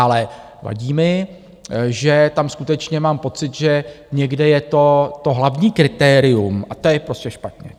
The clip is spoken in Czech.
Ale vadí mi, že tam skutečně mám pocit, že někde je to to hlavní kritérium a to je prostě špatně.